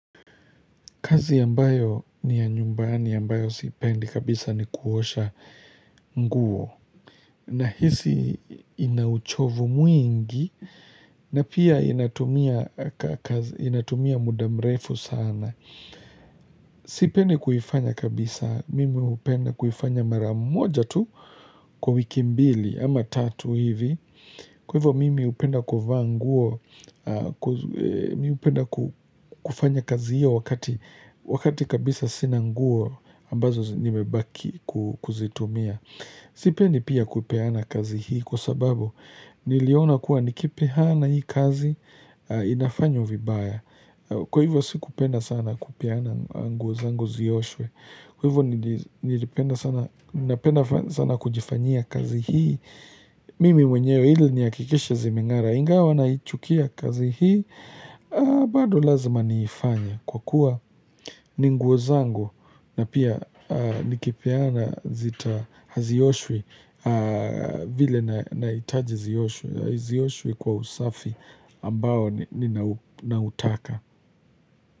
Kazi ambayo ni ya nyumbani ambayo siipendi kabisa ni kuosha nguo. Nahisi ina uchovu mwingi na pia inatumia muda mrefu sana. Sipendi kuifanya kabisa. Mimi hupenda kuifanya mara moja tu kwa wiki mbili ama tatu hivi. Kwa hivyo mimi hupenda kuvaa nguo mimi hupenda kufanya kazi hiyo wakati kabisa sina nguo ambazo nimebaki kuzitumia. Sipendi pia kupeana kazi hii kwa sababu niliona kuwa nikipeana hii kazi inafanywa vibaya. Kwa hivyo sikupenda sana kupeana nguo zangu zioshwe. Kwa hivyo nilipenda sana kujifanyia kazi hii. Mimi mwenyewe ili nihakikishe zimeng'ara ingawa naichukia kazi hii bado lazima niifanye kwa kuwa ni nguo zangu na pia nikipeana zita hazioshwi vile nahitaji zioshwe kwa usafi ambao ninautaka.